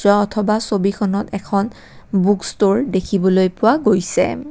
অ অথবা ছবিখনত এখন বুক ষ্ট'ৰ দেখিবলৈ পোৱা গৈছে।